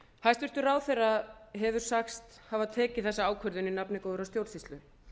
hæstvirtur ráðherra hefur sagst hafa tekið þessa ákvörðun í nafni góðrar stjórnsýslu